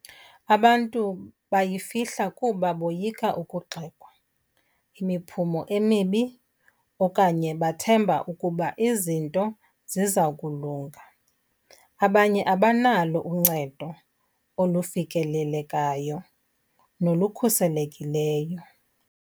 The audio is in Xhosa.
Abantu bayifihla kuba boyika ukugxekwa, imiphumo emibi okanye bathemba ukuba izinto ziza kulunga. Abanye abanalo uncedo olufikelelekayo nolukhuselekileyo.